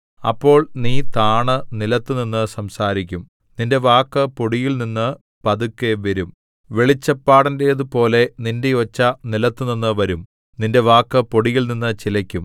അപ്പോൾ നീ താണു നിലത്തുനിന്നു സംസാരിക്കും നിന്റെ വാക്ക് പൊടിയിൽനിന്നു പതുക്കെ വരും വെളിച്ചപ്പാടന്റേതുപോലെ നിന്റെ ഒച്ച നിലത്തുനിന്നു വരും നിന്റെ വാക്ക് പൊടിയിൽനിന്നു ചിലയ്ക്കും